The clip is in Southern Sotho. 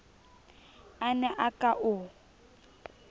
a ne a ka o